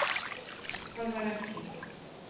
Það var ekki.